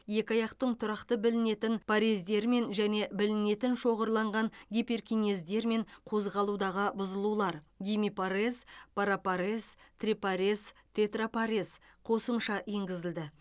екі аяқтың тұрақты білінетін парездерімен және білінетін шоғырланған гиперкинездермен қозғалудағы бұзылулар гемипарез парапарез трипарез тетрапарез қосымша енгізілді